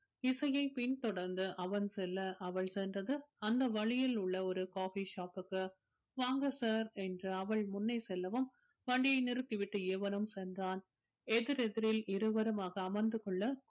இசையை பின்தொடர்ந்து அவன் செல்ல அவள் சென்றது அந்த வழியில் உள்ள ஒரு coffee shop க்கு வாங்க sir என்று அவள் முன்னே செல்லவும் வண்டிய நிறுத்திவிட்டு இவனும் சென்றான் எதிரெதிரில் இருவருமாக அமர்ந்து கொள்ள